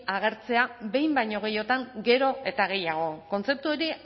agertzea behin baino gehiagotan gero eta gehiago kontzeptu hori